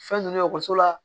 Fɛn ninnu ye ekɔliso la